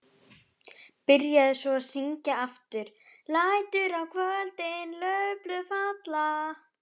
Byrjaði svo að syngja aftur: LÆTUR Á KVÖLDIN LAUFBLÖÐ FALLA.